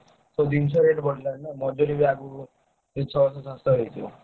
ସବୁ ଜିନିଷ rate ବଢିଲାଣି ନା ମଜୁରୀ ବି ଆଗୁକୁ ସେଇ ଛଅସହ ସାତଶହ ହେଇଯିବ।